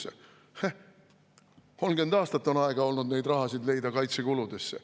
" Heh, 30 aastat on aega olnud neid rahasid leida kaitsekuludesse.